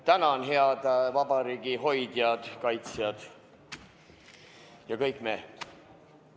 Tänan, head vabariigi hoidjad, kaitsjad ja kõik me!